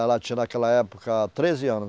Ela tinha naquela época treze anos.